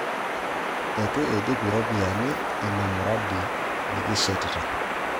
Eitu iidip iropiyiani ina muradi nikishetita